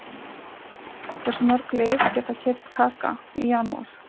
Hversu mörg lið geta keypt Kaka í janúar?